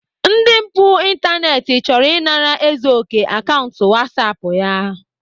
Ndị mpụ ịntanetị chọrọ ịnara Ezeoke akaụntụ whatsapp ya